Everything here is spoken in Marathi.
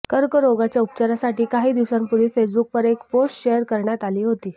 कर्करोगाच्या उपचारासाठी काही दिवसांपूर्वी फेसबुकवर एक पोस्ट शेअर करण्यात आली होती